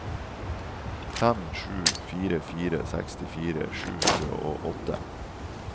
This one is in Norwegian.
fem sju fire fire sekstifire sju hundre og åtte